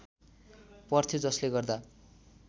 पर्थ्यो जसले गर्दा